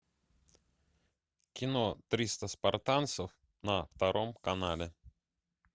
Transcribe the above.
кино триста спартанцев на втором канале